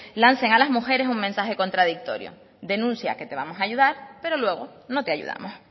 lancen a las mujeres un mensaje contradictorio denuncia que te vamos a ayudar pero luego no te ayudamos